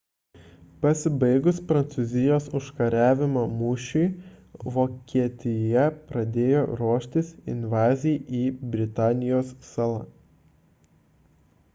pasibaigus prancūzijos užkariavimo mūšiui vokietija pradėjo ruoštis invazijai į britanijos salą